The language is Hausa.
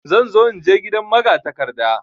Zan zo inje gidan magatakarda.